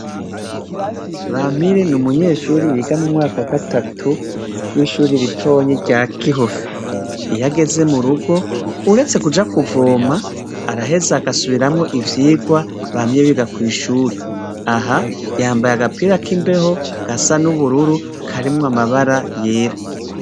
Bamire ni umunyeshuri yiga mu mwaka wa gatatu w'ishure ritoyi rya Gihofi. iyo ageze mu ruhome, uretse kuja kuvoma, araheza agasubiramwo ivyigwa bamye biga kw'ishuri. Aha yambaye agapira kimbeho, gasa n'ubururu karimwo amabara yera.